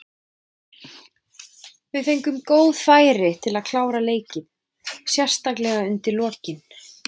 Við fengum góð færi til að klára leikinn, sérstaklega undir lokin.